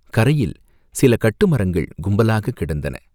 கரையில் சில கட்டு மரங்கள் கும்பலாகக் கிடந்தன.